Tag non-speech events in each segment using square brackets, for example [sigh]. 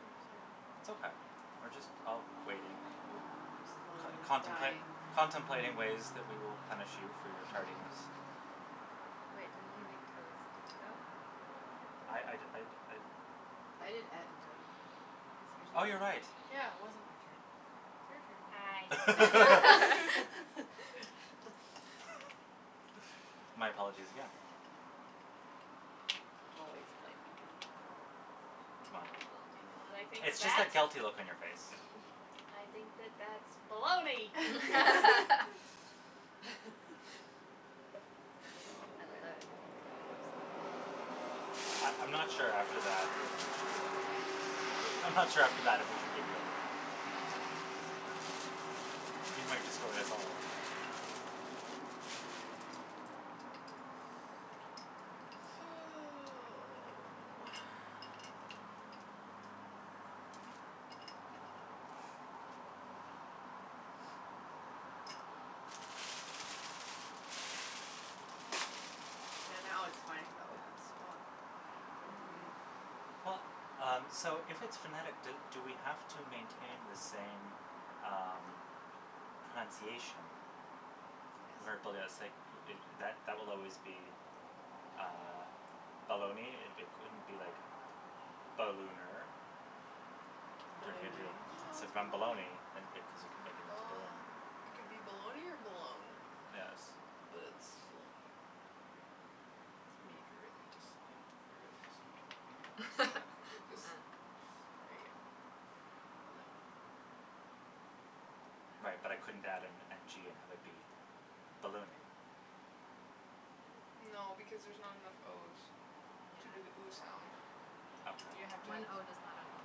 Oh, sorry. It's okay, we're just all waiting, Mm. Slowly contempla- dying. contemplating ways that we will punish you for your tardiness. [laughs] Wait, didn't you make toes? Did you go? I I'd I'd Mm. I'd I did et and toe. So it's Oh, your you're right. turn. Yeah, it wasn't my turn. It's Hi. your [laughs] turn. [laughs] [laughs] [laughs] [laughs] My apologies again. Always blaming me, always. Well, Well, you know what I think of it's just that? that guilty look on your face. I think that [laughs] that's baloney. [laughs] [laughs] [laughs] [laughs] Oh, I love it. man. Can I have some, please? I I'm not sure after that if we should give you any. Hmm? I'm not sure after that if we should give you any. You might destroy us all. Oh. Yeah, now Yes. it's funny though, cuz [inaudible] Mhm. Well, um, so if it's phonetic, do do we have to maintain the same, um, pronunciation. Where b- Yes. it's like that that that will always be, uh, baloney. It it couldn't be like ballooner. Turn it into Balloonay. No, So it's then baloney. baloney and it cuz you can make it into balloon. Bal- it could be baloney or balone, Yes. but it's baloney. Yeah. I mean, if you're really just, you know, if you really just want to make it [laughs] that, you [laughs] could just Yeah. Mm. There you go. Baloney. Right, but I couldn't add an n g and have it be ballooning. No because there's not enough o's Yeah. to do the ooh sound. You have to Okay. have One o does not an ooh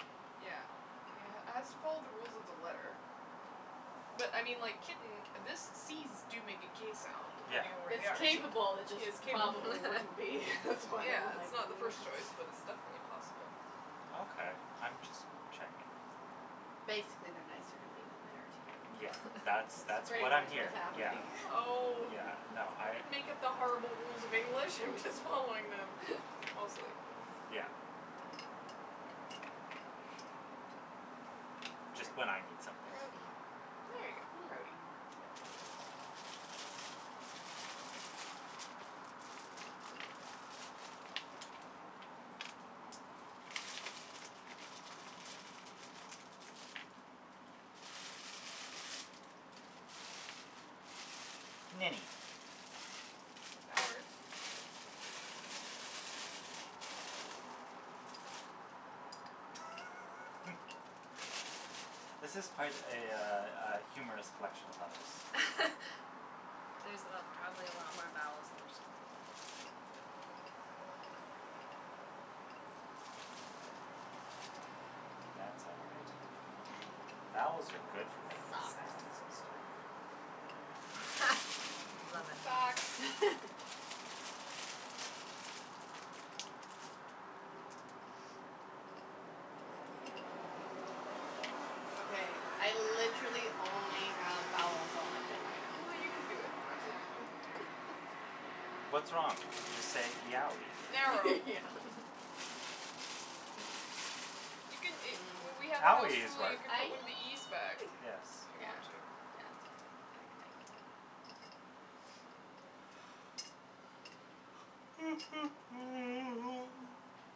make. Yeah. [inaudible] has to follow the rules of the letter. But, I mean, like, kitten, this c's do make a k sound Yeah. depending on where It's they are. capable, it Yes, just capable. probably wouldn't be. [laughs] [laughs] That's why Yeah, I'm it's like not the first choice, but [noise] it's definitely possible. Okay. I'm just checking. Okay. Basically, they're nicer to me than they are to Yeah, you. that's That's that's pretty what [laughs] I'm much what's hearing. Yeah, happening. Oh. yeah, no, I I didn't make up the horrible rules of English, I'm just following them. Mostly. Yeah. Just when I need something. Grody. There you go, grody. Yeah, there you go. Mini. That works. [laughs] This is quite a, uh, uh, humorous collection of letters. [laughs] There's probably a lot more vowels than there should be there. That's all right. Vowels are good for making sounds and stuff. [laughs] [laughs] Love it. Socks. [laughs] Okay, I literally only have vowels on my thing I right now. know you can do it. I believe in you. What's wrong? Just say yowee. Narrow. [laughs] [laughs] You can a W- we had [noise] a house Owee is rule, you work. can put one of Aeeee. the e's back. Yes. If you Yeah, want to. yeah, that's fine, I can make it. [noise]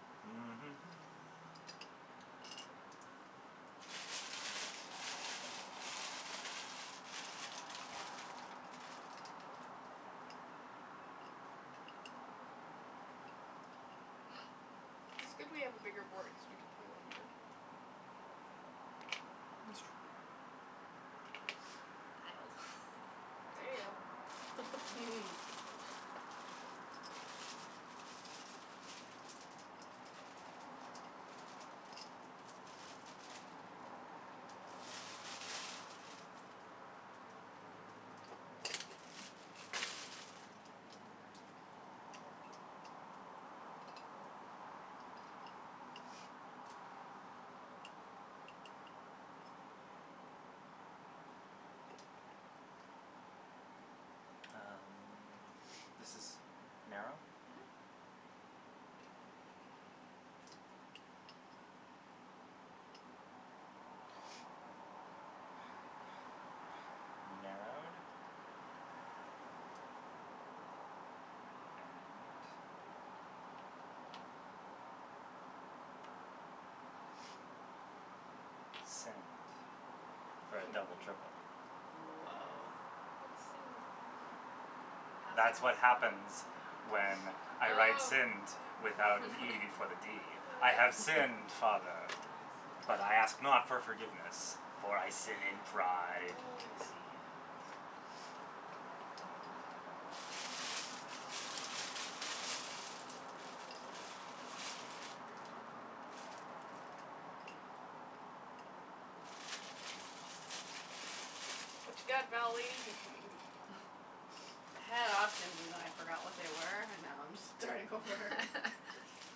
[noise] Yes. [laughs] It's good we have a bigger board cuz we can play longer. It's true. Dialed. There you go. [noise] [laughs] Um, this is narrow? Mhm. Narrowed? And Sinned for a double triple. Whoa. Nice. What's sinned? Past That's what happens tense. when I write Oh. sinned without an e before the d. [laughs] I have Oh. sinned, I father, see. but I ask not for forgiveness, for I sin in Oh, pride. I see. What you got, vowel lady? [laughs] I had options and then I forgot what they were and now I'm just starting over. [laughs]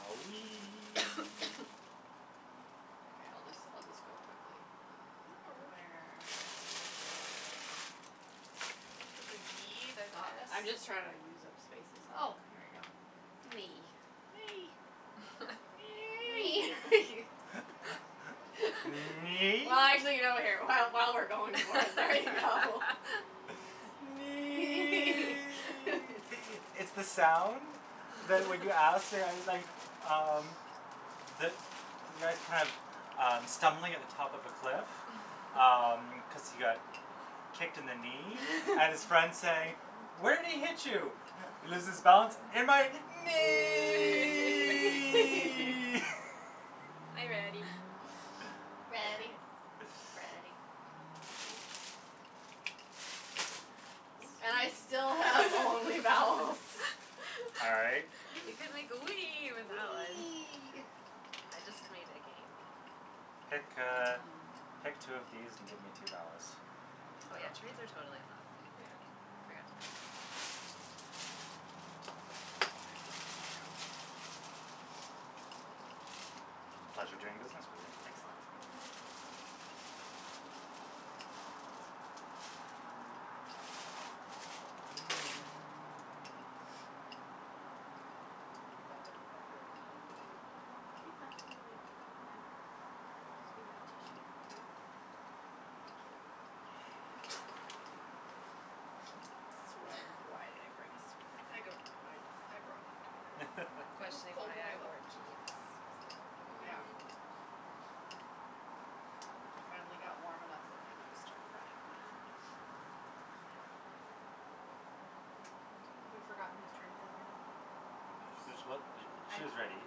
Owee. [noise] [noise] Okay, I'll just I'll just go quickly. No [noise] Uh, worries. where is there There's a g, there's an I'm s. just trying to use up spaces. Oh, Mm. here we go. Knee. Nay. [laughs] [laughs] Knee. [noise] [laughs] [laughs] [laughs] Knee? Well, actually, [inaudible] while we're going for it, there you go. [laughs] [laughs] [laughs] Nee! It's the sound that when you ask, like, [laughs] um, the the guy's kind of, um, stumbling at the top of a cliff, um, [laughs] cuz he got kicked in the knee and his friend's saying, "Where'd he hit you?" He loses balance. "In my Knee. knee!" [laughs] Are you ready? [laughs] [laughs] Ready, Nice. Freddy. And I still have [noise] only vowels. [laughs] All right. [laughs] You can make the wee with that one. Wee. I just made again. Pick, Mhm. uh, pick two of these and give me two vowels. Oh, yeah, trades are totally allowed. Yeah. I forgot to mention that. Pleasure doing business with you. Excellent. Mhm. [noise] Keep that in mind. [inaudible] Thank you. Sweater. Why [laughs] did I bring a sweater? I don't know. I brought one, too. I'm It was questioning cold why when I [laughs] I left wore my house. jeans, so Yeah. Mhm. I finally got warm enough that my nose started running. Mm. [noise] Have we forgotten whose turn it is again? This is what [inaudible] I she is ready.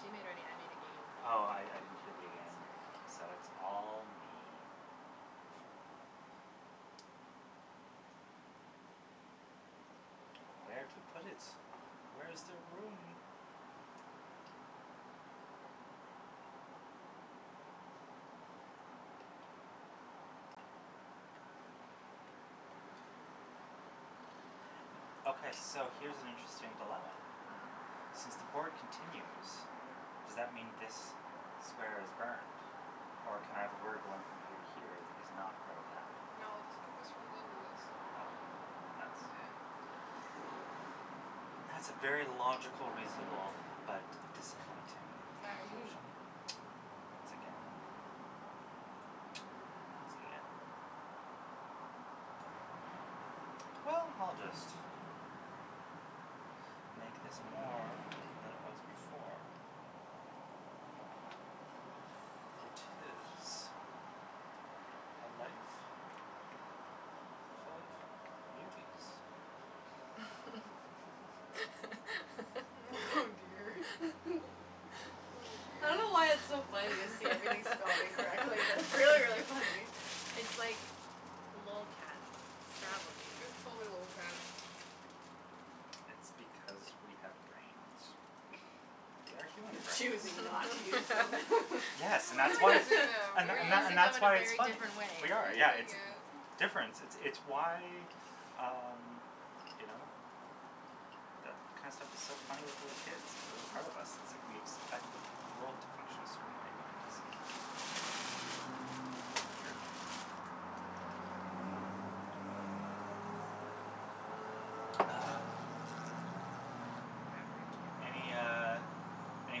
She made ready, I made again. Oh, I I didn't hear the It's again, there I so go. it's all me. Where to put it. Where's there room? [noise] Okay, so here's an interesting dilemma. Mhm. Mhm. Since the board continues, Mhm. does that mean this square is burned, or can I have a word going from here to here that is not part of that? No, this could this runs into this. Okay, th- that's Yeah. That's a very logical, reasonable but disappointing conclusion [inaudible] [laughs] [noise] once again. [noise] Once again. [noise] Well, I'll just make this more than it was before. For it is a life full of beauties. [laughs] [laughs] Oh dear. Oh, [laughs] I dear. don't know why it's so funny to see everything spelled incorrectly, but it's really, really funny. [laughs] [laughs] It's like lolcats Scrabble game. It was totally lolcats. It's because we have brains. And they are [laughs] human We're brains. choosing not to use them. Yes, and We that's are why it's using [laughs] [laughs] them, and we th- We're and th- are. and using them that's in a why it's very funny. different We way. We're are, yeah, using it's it. difference. It's why, um, you know, that kind of stuff is so funny with little kids, a part of us, it's like we expect the world to function a certain way when it doesn't. Weird. Ah. I have a really Any, good one. uh, any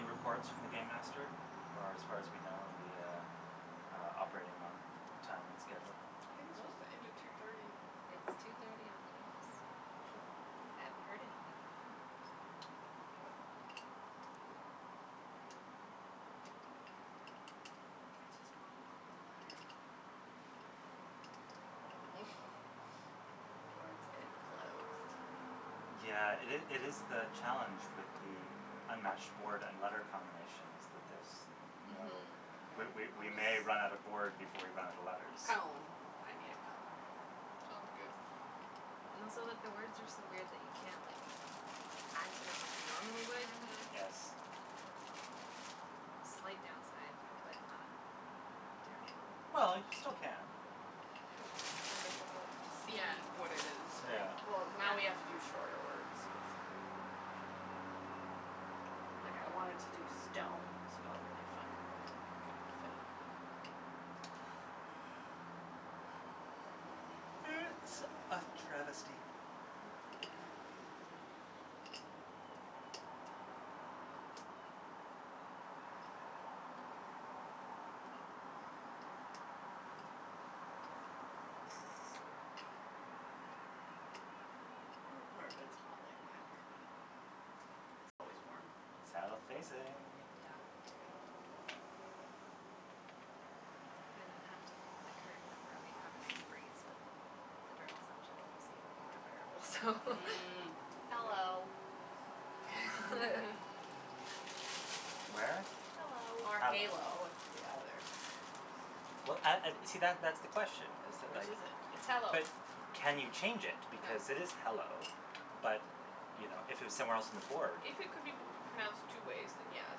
reports from the game master, or as far as we know are we, uh, operating on time and schedule? I think it's Well, supposed to end at two thirty. it's two thirty on the nose. Okay. I haven't Hmm. heard anything from him. Hmm. I just want an open letter. [noise] Or it's getting close to Mhm. Yeah, it is it is the challenge with the unmatched board and letter combination is that there's no Mhm. We Okay, we we I'll may run out of just board before we run out of letters. Column. I made a column. Sounds good. And also that the words are so weird that you can't, like, add to them like you normally would. Mhm. Yes. Slight downside but not terrible. Well, you still can. Just more difficult to see Yeah. what it is, yeah. Yeah. Well, now we have to do Yeah. shorter words, basically. Like, I wanted to do stone spelled really funny, but it couldn't all fit. It's a travesty. [noise] [noise] Your apartment's hot like my apartment. It's always warm. South facing. Yeah. Yeah. If I didn't have to put the curtain over, we'd have a nice breeze, but the direct sunshine is even more unbearable, so Mm. Mm. Hello. [laughs] [laughs] Where? Hello. Or Hello. halo, it could be either. Well, and and see, that that's the question is that, Which like is it? It's hello. But can you change it No. because it is hello, but, you know, if it was somewhere else on the board If it could be p- pronounced two ways, then yes.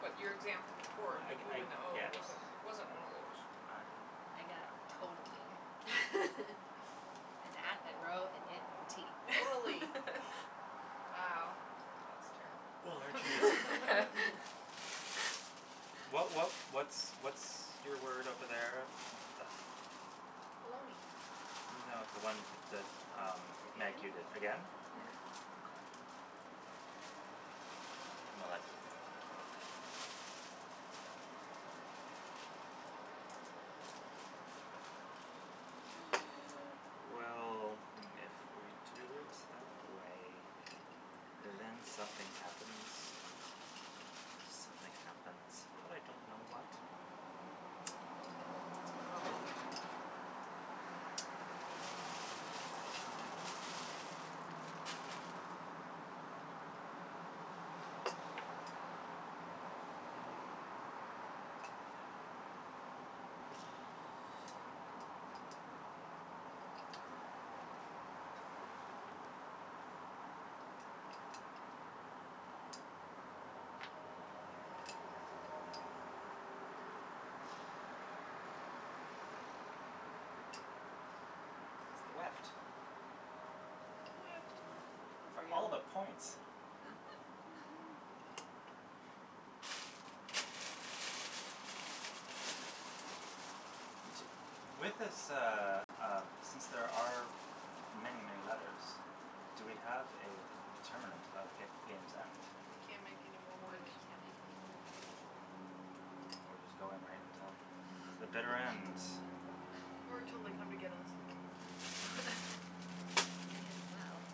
But your example before, the I g- ooh I and the oh, guess. wasn't wasn't one of those. I I got totally. [laughs] And at and row and it and tee. [inaudible] [laughs] Wow, that's terrible. [laughs] [noise] [laughs] What what what's what's your word over there that Baloney. No, the one that, um, Meg, you did, Again? again? Yeah. Mhm. Okay. Well, that doesn't help me. [noise] Well, if we do it that way, then something happens. Something happens, but I don't know what. Mhm. It's a problem. But I don't know. It's the weft. Weft. Mm. Oh, For for all of real? the points. Mhm. Mhm. [laughs] T- with this, uh, um, since there are many, many letters, do we have a d- determinant of g- game's end? We can't make anymore When words. we can't make anymore words. We're just going right until the bitter ends? [laughs] Or till they come to get us. [laughs] May as well.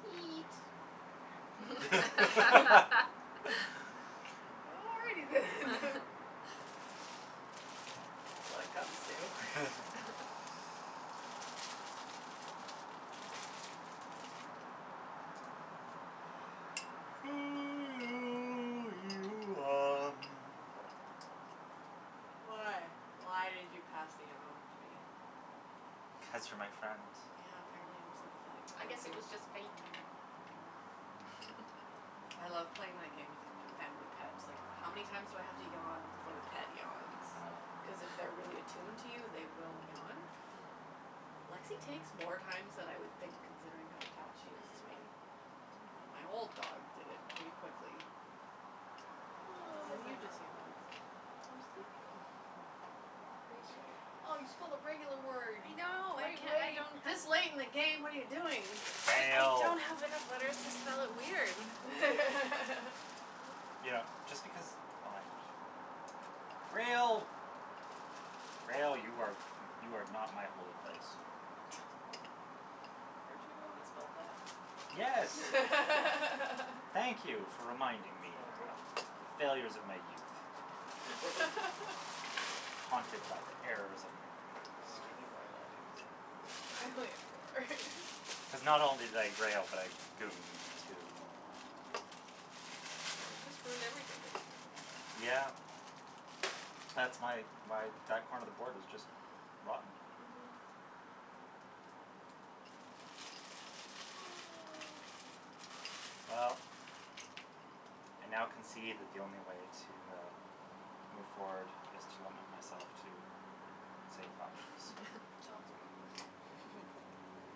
Teat [laughs] [laughs] [laughs] [laughs] Already then. [laughs] When it comes to [laughs] [laughs] [noise] [noise] Why? Why did you pass the yawn onto me? Cuz you're my friend. Yeah, apparently I'm sympathetic I towards guess it you. was just fake. Mm. Mm. [laughs] I love playing my game with a f- family pet. Like, how many times do I have to yawn before the pet yawns? Cuz Oh. if they're really attuned to you, they will yawn. Hmm. Lexie takes more times than I would think considering how attached she is to me. Mhm. But Hmm. my old dog did it really quickly. And Oh. This is then the you just normal yawned. I'm way. sleepy, though. Ratio. [laughs] Oh, you spelled a regular word. I know, I can- I [inaudible] don't have This late in the game? What are you doing? I Fail. don't have enough letters to spell it weird. [laughs] You know, just because, oh like Grail. Grail. You are you are not my holy place. [laughs] Weren't you the one Boat. that spelled that? Yes. Thank [laughs] you for reminding me Sorry. of the failures of my youth. [laughs] Haunted by the errors of my Oh, past. I need more letters. I only have four. [laughs] Cuz not only did I grail, but I gooned, too. Oh, you just ruined everything, didn't you? Yeah. That's my why that corner of the board is just rotten. Mhm. [noise] Well, I now concede that the only way to, uh, move forward is to limit myself to safe options. Sounds good. [laughs] [laughs]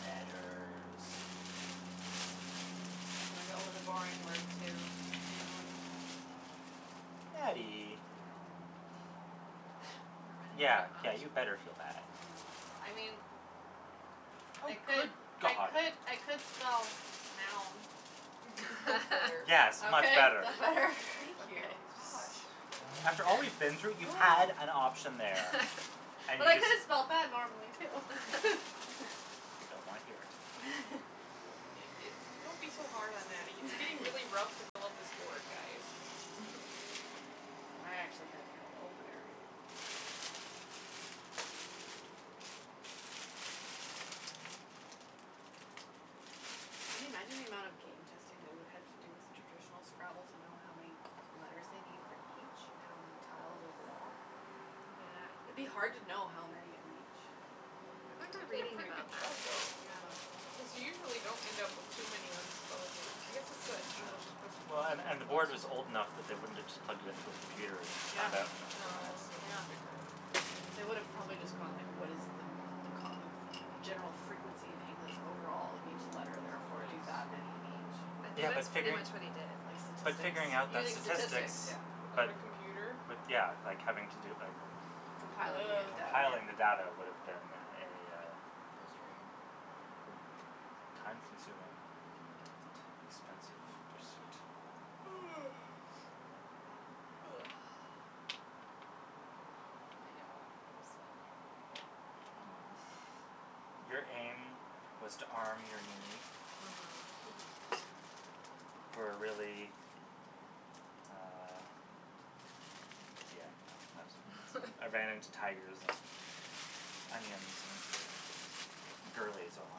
Letters. I'm gonna go with a boring word, too. [inaudible] I Nattie. know. We're running out Yeah, of yeah, options. you better feel bad. I mean, Oh, I could good I god. could I could spell now. [laughs] That's better. Yes, much Okay? better. That better? Thank you. Okay. [laughs] Gosh. After all we've been [laughs] through, you had an [noise] option there and But you I could just have spelled that [laughs] normally, too. I don't wanna hear [laughs] it. [laughs] Oh, it it's [laughs] don't be so hard on Nattie. It's getting really rough to fill up this board, guys. [laughs] [noise] I actually had kind of the opener there, I think. Can you imagine the amount of game [noise] testing they would have to do with traditional Scrabble to know how many letters they need for each and how many tiles overall? Yeah, I It'd think be hard to know how many of each. I remember They did a reading pretty good about job, that. though, Yeah. because you usually don't end up with too many unspellable I guess it's that Yeah, English well, and and the board was old enough [inaudible] that they wouldn't have just plugged it into a computer and Yeah. found out in a couple of No, minutes. they would have Yeah. figured it out. They would have probably just gone, like, what is the kind of general frequency in English overall of each Mm, letter, therefore, do somebody's that many in I each. think Yeah, but that's pretty figuring much what he Like did. But statistics. figuring out that Using statistics, statistics yeah. Without but a computer? With, yeah, like, having to do, like Compiling Ugh. the Compiling the data. data would have been a Frustrating. time consuming and Mhm. expensive pursuit. [noise] [noise] I know [inaudible] spelled normally, but aim. Your aim was to arm your knee Mhm. for a really, uh, yeah, no, I was I ran into [laughs] tigers and onions and girlies, oh my.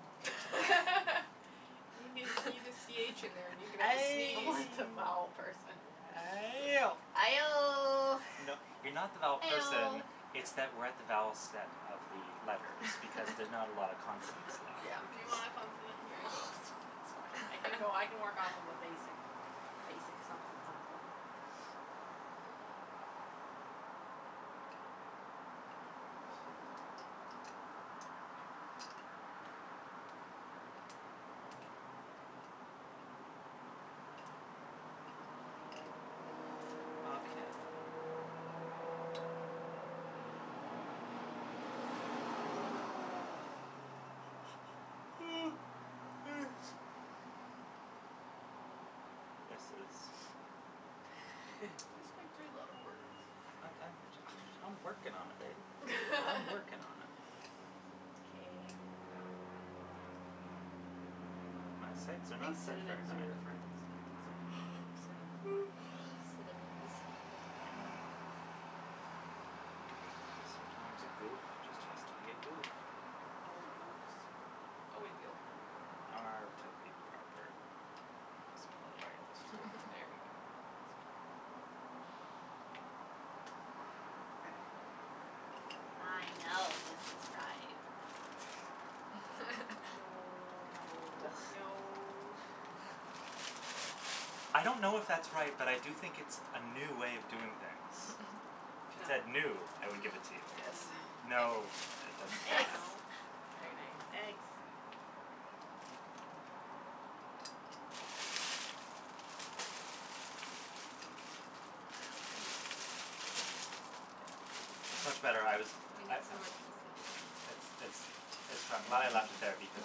[laughs] You n- you need a c h in there and you can have a Ay! I'm sneeze. like the [laughs] vowel person. Ayo! Aioh. [laughs] You know, you're not the vowel person, Eoh. it's that we're at the vowel set of the letters because there's not a lot of consonants [laughs] left Yeah. You because [laughs] want a consonant? Here you go. [laughs] That's fine. I can go, I can work off a basic [laughs] basic something something. Okay. [noise] This is Just [laughs] make three letter words. I I I'm ju- I"m working on it, babe. I'm working on it. [laughs] K. My my sights are I not think set very synonyms are high. your friends. Synonyms are my friends. [noise] Synonyms. You know, sometimes a goof just has to be a goof. More goofs. Oh [inaudible] R to be proper. I'll spell it right this time. There we [laughs] go. That's better. Okay. I know this is right. [laughs] No. That No. No. [laughs] I don't know if that's right, but I do think it's a new way of doing things. [laughs] If it said new, I would give Mm. it to you. Yes. No, it doesn't fly Eggs. No? [laughs] But Very uh nice. [inaudible] Eggs. Ah, piece. Yeah, We it's need much better. I was we I need I some more pieces than It's this. it's it's I'm glad I left it there because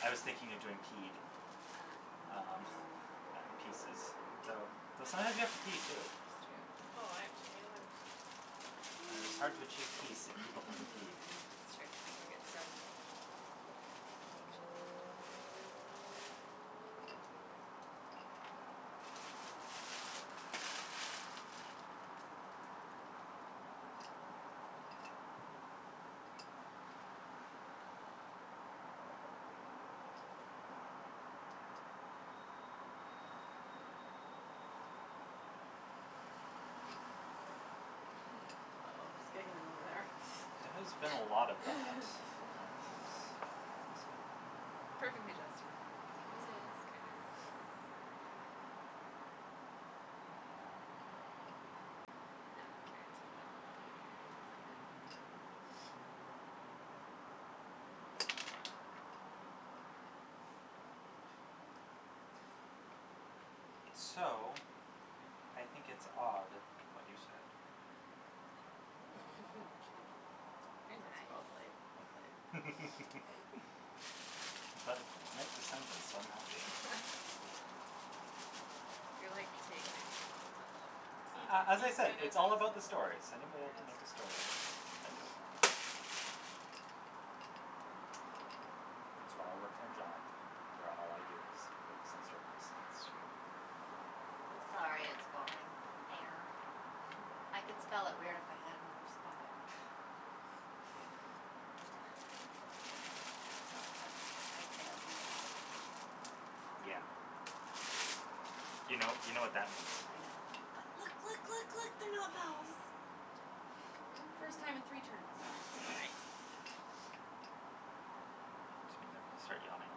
I was thinking of doing peed, Ah. um, and pieces. Though though sometimes you That have to pee too. It's true. Oh, I have too many letters. It is hard to achieve peace if people haven't peed. [noise] [laughs] [inaudible] [laughs] Oh, there's giggling over there. There has been a lot of that and [laughs] [laughs] it, uh Perfectly justified in this case. Mhm. It's kinda ridiculous. Yeah. Not guaranteed I'll be able to play it, but So, I think it's odd what you said. Mhm. [laughs] Cute. Mm. Very nice. That's well played, well played. [laughs] But it makes a sentence, so I'm happy. [laughs] You're like taking it to another level, the He he A a as I said, kind of it's sentences. all does that, about the stories. Any way I can make a yes. story, I do it. It's why I work in a job where all I do is focus on stories. That's true. I'm sorry it's boring. Air. I could spell [laughs] it weird if I had another spot. But I don't, so I I've failed you all. Yeah. You know, you know what that means. I know. But look, look, look, look, they're not vowels. First time in three turns. Mm. Nice. Which means I'm gonna start yawning a